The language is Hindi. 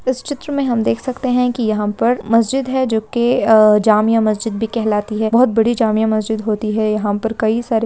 इस चित्र में हम देख सकते हैं की यहाँ पर मस्जिद है जो की अ जामिया मस्जिद भी कहलाती है बहुत बड़ी जामिया मस्जिद होती है यहाँ पर कई सारे --